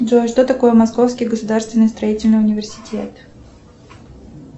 джой что такое московский государственный строительный университет